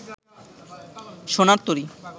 সোনার তরী